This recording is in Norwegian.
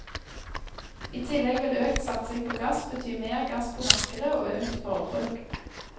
I tillegg vil økt satsing på gass bety mer gass på markedet og økt forbruk.